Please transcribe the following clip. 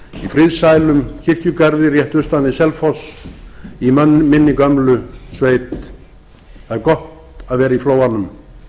friðsælum kirkjugarði rétt austan við selfoss í minni gömlu sveit það er gott að vera í flóanum